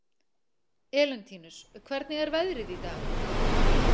Elentínus, hvernig er veðrið í dag?